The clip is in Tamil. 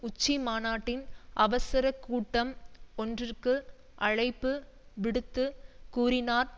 உச்சிமாநாட்டின் அவசர கூட்டம் ஒன்றிற்கு அழைப்பு விடுத்துக் கூறினார்